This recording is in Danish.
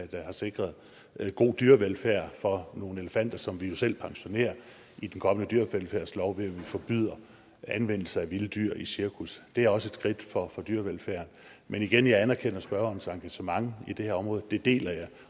der har sikret en god dyrevelfærd for nogle elefanter som vi jo selv pensionerer i den kommende dyrevelfærdslov ved at vi forbyder anvendelse af vilde dyr i cirkus det er også et skridt for dyrevelfærden men igen jeg anerkender spørgerens engagement i det her område det deler jeg